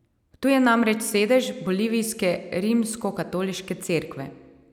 Tu je namreč sedež bolivijske Rimskokatoliške cerkve.